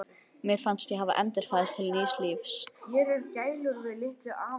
Mér fannst ég hafa endurfæðst til nýs lífs.